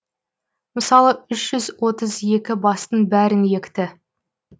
мысалы үш жүз отыз екі бастың бәрін екті